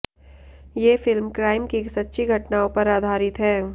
ये film crime की सच्ची घटनाओं पर आधारित है